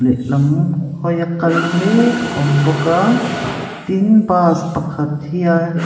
lehlam hawia kal mêk awm bawk a tin bas pakhat hian--